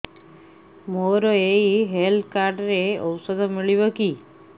ମୋର ଏଇ health card ରେ ଔଷଧ ମିଳିବ କି